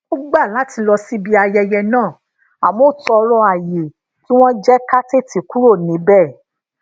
a gbà láti lọ síbi ayẹyẹ náà àmó a toro aye kí wón jé ká tètè kúrò níbè